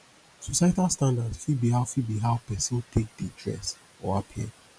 societal standards fit be how fit be how person take dey dress or appear